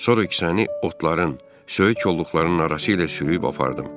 Sonra kisəni otların, söyüç kolluqların arası ilə sürüyüb apardım.